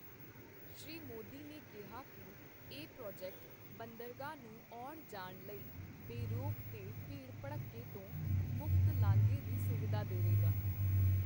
ਸ਼੍ਰੀ ਮੋਦੀ ਨੇ ਕਿਹਾ ਕਿ ਇਹ ਪ੍ਰੋਜੈਕਟ ਬੰਦਰਗਾਹ ਨੂੰ ਆਉਣ ਜਾਣ ਲਈ ਬੇਰੋਕ ਤੇ ਭੀੜ ਭੜੱਕੇ ਤੋਂ ਮੁਕਤ ਲਾਂਘੇ ਦੀ ਸੁਵਿਧਾ ਦੇਵੇਗਾ।